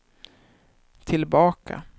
tillbaka